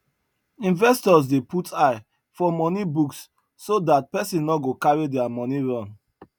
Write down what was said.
investors dey put eye for money books so that person no go carry their money run